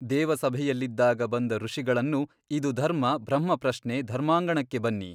ದೇವಸಭೆಯಲ್ಲಿದ್ದಾಗ ಬಂದ ಋಷಿಗಳನ್ನು ಇದು ಧರ್ಮ ಬ್ರಹ್ಮಪ್ರಶ್ನೆ ಧರ್ಮಾಂಗಣಕ್ಕೆ ಬನ್ನಿ.